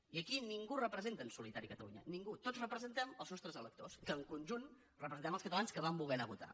i aquí ningú representa en solitari catalunya ningú tots representem els nostres electors que en conjunt representem els catalans que van voler anar a votar